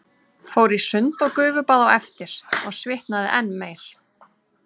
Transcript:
Fór í sund og gufubað á eftir og svitnaði enn meir.